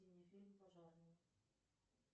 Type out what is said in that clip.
фильм пожарные